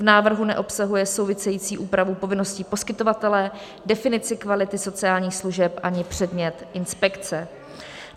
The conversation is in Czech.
V návrhu neobsahuje související úpravu povinností poskytovatele, definici kvality sociálních služeb ani předmět inspekce.